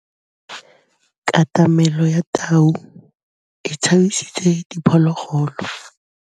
Katamêlô ya tau e tshabisitse diphôlôgôlô.